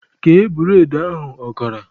Kee bụredị ahụ ọkara!